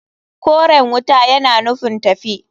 Koren wuta yana nufin tafi.